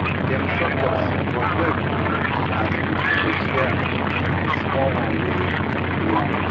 dem shock us but joy full body as we been dey share um di small one wey we um get